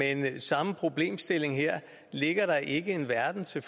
er den samme problemstilling her er der ikke en verden til